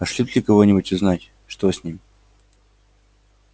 пошлют ли кого-нибудь узнать что с ним